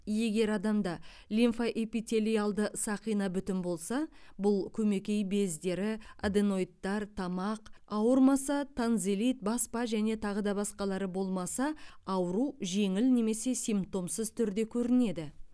егер адамда лимфоэпителиалды сақина бүтін болса бұл көмекей бездері аденоидтар тамақ ауырмаса тонзиллит баспа және тағы да басқалары болмаса ауру жеңіл немесе симптомсыз түрде көрінеді